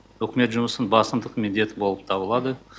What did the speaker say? үкімет жұмысының басымдық міндеті болып табылады